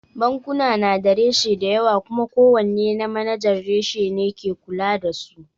Bankuna na da reshe dayawa kuma ko wanne na manajan reshe ne ke kula da su